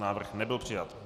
Návrh nebyl přijat.